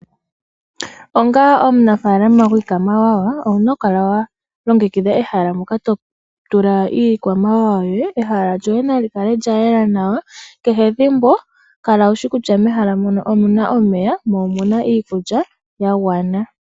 Onga omunafaalama gwiikwamawa, owuna okukala walongekidha ehala moka totula iikwamawawa yoye. Ehala lyoye nali kale lyayela nawa, kehe ethimbo kala wushi kutya omuna omeya, mo omuna iikulya yagwana.